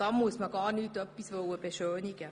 Da muss man nichts beschönigen.